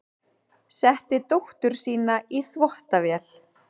Setti dóttur sína í þvottavél